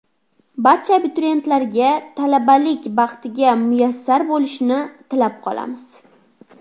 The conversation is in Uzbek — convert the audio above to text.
Barcha abituriyentlarga talabalik baxtiga muyassar bo‘lishni tilab qolamiz.